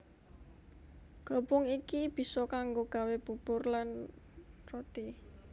Glepung iki bisa kanggo gawé bubur lan roti